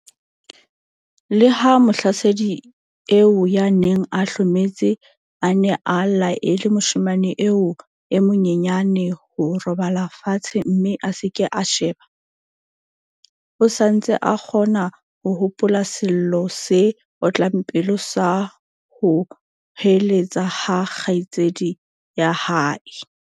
Leha mohlasedi eo ya neng a hlometse a ne a laele moshemane eo e monyenyane ho robala fatshe mme a se ke a sheba, o sa ntse a kgona ho hopola sello se otlang pelo sa ho hoeletsa ha kgaitsedi ya hae.